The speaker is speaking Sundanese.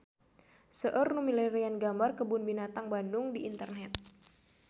Seueur nu milarian gambar Kebun Binatang Bandung di internet